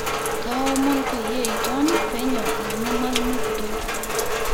kaomon peyie iton penyo aanyu olmalimui kitok